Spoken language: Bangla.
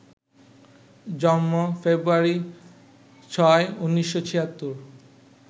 জন্ম, ফেব্রুয়ারি ৬, ১৯৭৬